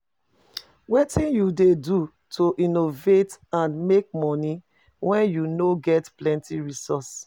Wetin you dey do to innovate and make monie when you no ge plenty resources?